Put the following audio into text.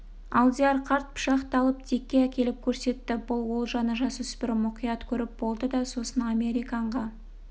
алдияр қарт пышақты алып дикке әкеліп көрсетті бұл олжаны жасөспірім мұқият көріп болды да сосын американға